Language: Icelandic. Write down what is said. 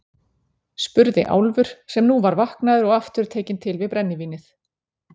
spurði Álfur, sem nú var vaknaður og aftur tekinn til við brennivínið.